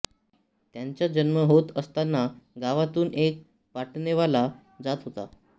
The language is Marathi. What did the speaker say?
त्यांचा जन्म होत असतांना गावातून एक पाळणेवाला जात होता